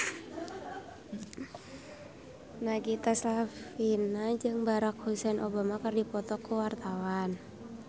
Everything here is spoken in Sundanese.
Nagita Slavina jeung Barack Hussein Obama keur dipoto ku wartawan